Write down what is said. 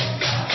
Song